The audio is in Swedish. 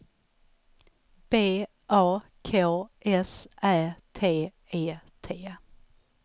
B A K S Ä T E T